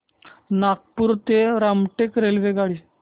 नागपूर ते रामटेक रेल्वेगाडी